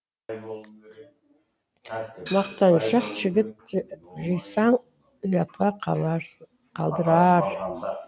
мақтаншақ жігіт жисаң ұятқа қалдырар